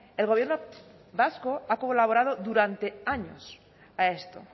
el gobierno vasco ha colaborado durante años a esto